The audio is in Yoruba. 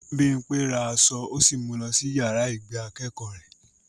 Bímpé ra aṣọ ó sì mu lọ sí yàrá ìgbé akẹ́kọ̀ọ́ rẹ̀